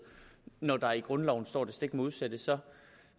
når der i grundloven står det stik modsatte så